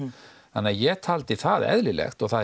þannig að ég taldi það eðlilegt og það